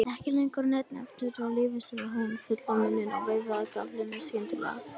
Ekki lengur nein eftirlíking af lífi, sagði hún með fullan munninn og veifaði gafflinum skyndilega.